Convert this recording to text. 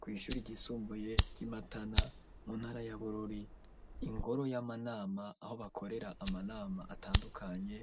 Kw'ishuri ryisumbuye ry'imatana mu ntara ya bururi, ingoro y'amanama aho bakorera amanama atandukanye